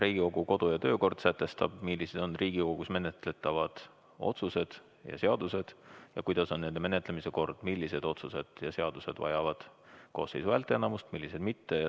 Riigikogu kodu- ja töökord sätestab, millised on Riigikogus menetletavad otsused ja seadused ning milline on nende menetlemise kord, millised otsused ja seadused vajavad koosseisu häälteenamust, millised mitte.